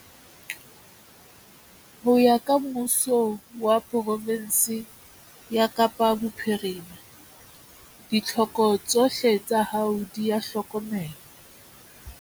Ho ya ka Mmuso wa pro-fensi ya Kapa Bophirima, ditlhoko tsohle tsa hao di a hlokomelwa.